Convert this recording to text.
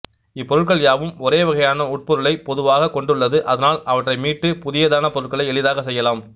இப்பொருட்கள் யாவும் ஒரே வகையான உட்பொருளை பொதிவாக கொண்டுள்ளது அதனால் அவற்றை மீட்டு புதியதான பொருட்களை எளிதாக செய்யலாம்